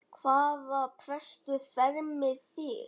Hvaða prestur fermir þig?